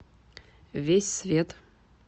весь свет